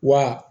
Wa